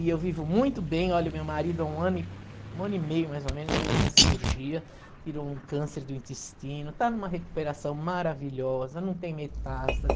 E eu vivo muito bem, olha, o meu marido há um ano um ano e meio, mais ou menos, fez uma cirurgia, tirou um câncer do intestino, está numa recuperação maravilhosa, não tem metástase.